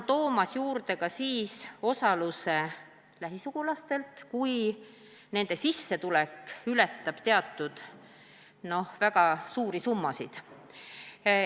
Tuuakse juurde ka lähisugulaste osalus, kui nende sissetulek ületab teatud väga suuri summasid.